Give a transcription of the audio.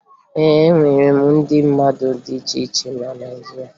E nwere ụdị mmanya dị iche iche na Naịjirịa